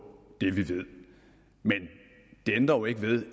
det vi ved men det ændrer ikke ved